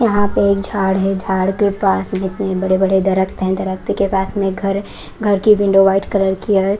यहाँ पे एक झाड़ है झाड़ के पास बड़े बड़े दरक्त हैं दरक्त के पास में घर है घर की विंडो व्हाईट कलर की है।